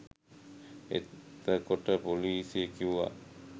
එත‍කොට පොලිසිය කිව්වා